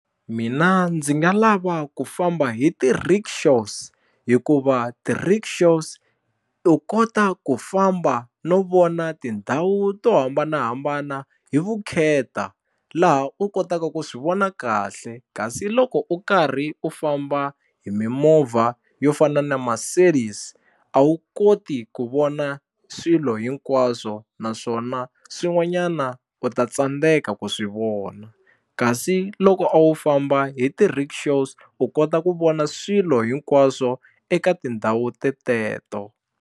Mina ndzi nga lava ku famba hi ti-rickshaws hikuva ti-rickshaws u kota ku famba no vona tindhawu to hambanahambana hi vukheta laha u kotaka ku swi vona kahle kasi loko u karhi u famba hi mimovha yo fana na Mercedes a wu koti ku vona swilo hinkwaswo naswona swin'wanyana u ta tsandzeka ku swi vona kasi loko a wu famba hi ti-rickshaws u kota ku vona swilo hinkwaswo eka tindhawu teteto.